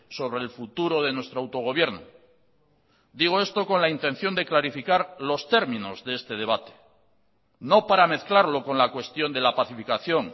sobre el futuro de nuestro autogobierno digo esto con la intención de clarificar los términos de este debate no para mezclarlo con la cuestión de la pacificación